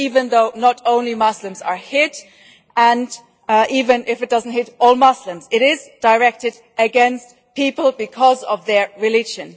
Even though not only Muslims are hit, and even if it does not hit all Muslims, it is directed against people because of their religion.